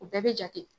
O bɛɛ bɛ jate